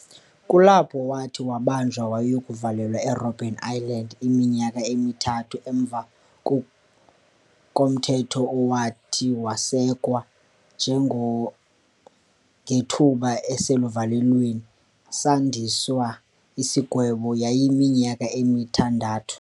Kulapho wathi wabanjwa wayokuvalelwa eRobben Island iminyaka emithathu emva komthetho owathi wasekwa ngethuba eselivalelweni sandiswa isigwebo yayiminyaka emithandathu.